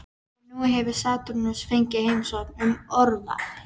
Og nú hefur Satúrnus fengið heimsókn um óraveg.